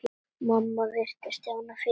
Mamma virti Stjána fyrir sér.